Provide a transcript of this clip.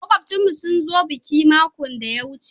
Makubchin mu sun zo bikin makon daya wuce.